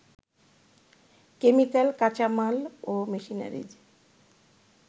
chemical, কাঁচামাল ও machineries